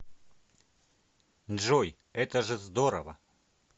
джой это же здорово